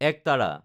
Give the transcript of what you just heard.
একতাৰা